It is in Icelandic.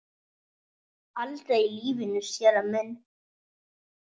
Aldrei í lífinu, séra minn.